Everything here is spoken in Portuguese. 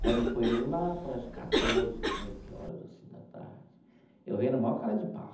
Quando foi lá para as quatorze, quinze horas, assim, da tarde, eu venho na maior cara de pau.